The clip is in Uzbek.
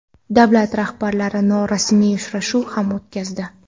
Davlat rahbarlari norasmiy uchrashuv ham o‘tkazdi .